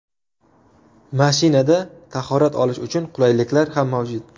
Mashinada tahorat olish uchun qulayliklar ham mavjud.